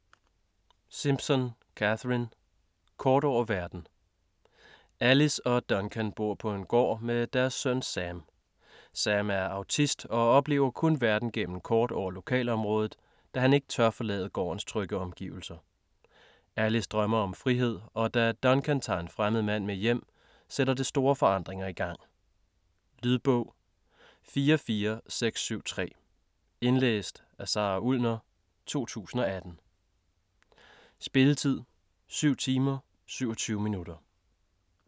Simpson, Catherine: Kort over verden Alice og Duncan bor på en gård med deres søn Sam. Sam er autist og oplever kun verden gennem kort over lokalområdet, da han ikke tør forlade gårdens trygge omgivelser. Alice drømmer om frihed, og da Duncan tager en fremmed mand med hjem, sætter det store forandringer i gang. Lydbog 44673 Indlæst af Sara Ullner, 2018. Spilletid: 7 timer, 27 minutter.